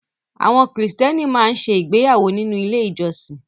Àwọn Kìrìtẹ́ẹ́nì máa ń ṣe ìgbéyàwó nínú ilé-ìjọsìn.